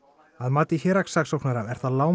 að mati héraðssaksóknara er það